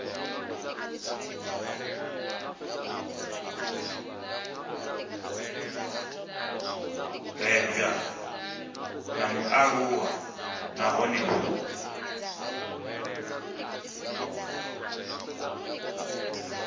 bebwa na mualuwa nahone hu